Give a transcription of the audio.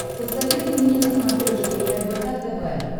посоветуй мне на смотрешке рбк тв